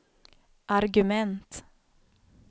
argument